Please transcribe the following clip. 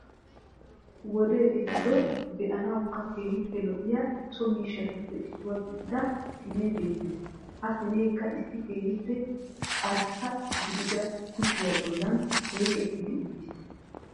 wode eehido be'anawukka keehippe lo'iyaa so miishshaatuppe issuwa gididaa siine beettees. ha siinekka issi keehippe aarrsa gidida kushiya bollaan oyqettidi uttiiss